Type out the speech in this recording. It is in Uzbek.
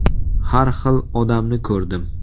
Har xil odamni ko‘rdim.